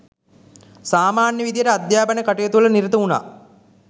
සාමාන්‍ය විදිහට අධ්‍යාපන කටයුතුවල නිරත වුණා.